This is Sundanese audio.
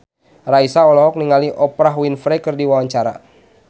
Raisa olohok ningali Oprah Winfrey keur diwawancara